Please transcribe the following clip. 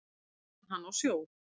Þar vann hann á sjó.